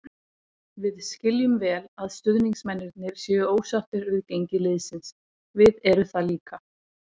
Við skiljum vel að stuðningsmennirnir séu ósáttir við gengi liðsins, við eru það líka.